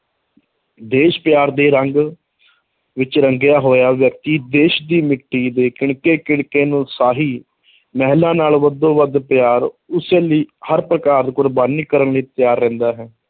ਦੇਸ਼ ਪਿਆਰ ਦੇ ਰੰਗ ਵਿੱਚ ਰੰਗਿਆ ਹੋਇਆ ਵਿਅਕਤੀ ਦੇਸ਼ ਦੀ ਮਿੱਟੀ ਦੇ ਕਿਣਕੇ ਕਿਣਕੇ ਨੂੰ ਸ਼ਾਹੀ ਮਹਿਲਾਂ ਨਾਲੋਂ ਹੱਦੋਂ ਵੱਧ ਪਿਆਰ, ਉਸ ਲਈ ਹਰ ਪ੍ਰਕਾਰ ਕੁਰਬਾਨੀ ਕਰਨ ਲਈ ਤਿਆਰ ਰਹਿੰਦਾ ਹੈ,